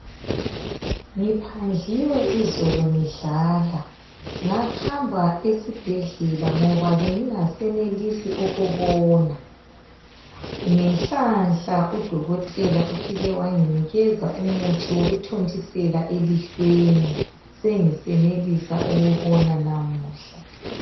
Ngiphandliwe izolo ngidlala, ngahamba esibhedlela ngoba bengingasenelisi ukubona, ngenhlanhla udokotela ufike wanginikeza umuthi wokuthontisela elihlweni, sengisenelisa ukubona namuhla.